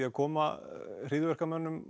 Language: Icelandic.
að koma hryðjuverkamönnum